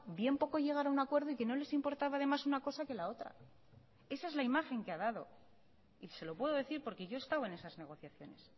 bien poco llegar a un acuerdo y que no les importaba además una cosa que la otra esa es la imagen que ha dado y se lo puedo decir porque yo he estado en esas negociaciones